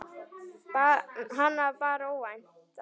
Hana bar óvænt að.